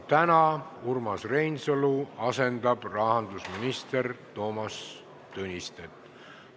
Täna asendab rahandusminister Toomas Tõnistet Urmas Reinsalu.